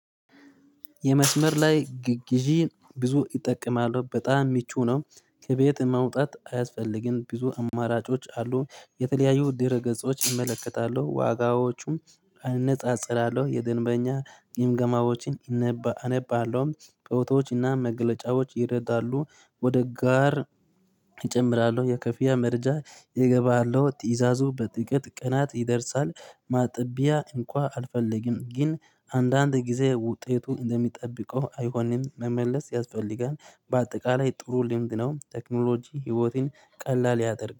የመስመር ላይ ግዢን ብዙ እጠቀማለሁ። በጣም ምቹ ነው። ከቤት መውጣት አያስፈልግም። ብዙ አማራጮች አሉ። የተለያዩ ድረ ገጾች እመለከታለሁ። ዋጋዎቹም አነጻጽራለሁ። የደንበኛ ግምገማዎችን አነባለሁም። በውተዎችና መገለጫዎች ይረዳሉ ወደ ጋር እጨምራለሁ የከፊያ መረጃ እገባለሁ። ትእዛዙ በጥቂት ቀናት ይደርሳል። ማጥቢያ እንኳ አልፈልግም ግን አንዳንድ ጊዜ ውጤቱ እንደሚጠብቀው አይሆንም። መመለስ ያስፈልጋል። በአጠቃላይ ጥሩ ልምድ ነው ቴክኖሎጂ ህይወቴን ቀላል ያደርጋል።